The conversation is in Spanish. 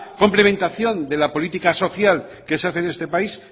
complementación de la políticas social que se hace en este país